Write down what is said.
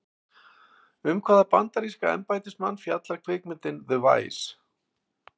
Um hvaða bandaríska embættismann fjallar kvikmyndin The Vice?